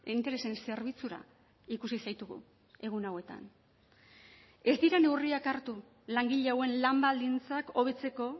interesen zerbitzura ikusi zaitugu egun hauetan ez dira neurriak hartu langile hauen lan baldintzak hobetzeko